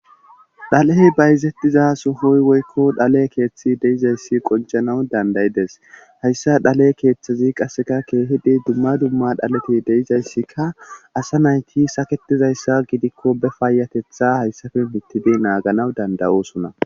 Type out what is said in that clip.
Dhalee bayzettiza sufoy woykko dhale keeththi deizayssi qoncanaw dandayides hayssa dhale keeththezi qasseka keehidi dumma dumma dhaleti deizayssikka asa nayti saketizayssa gidikko be faayatetha hayssafe mittide naaganaw dandayosuna.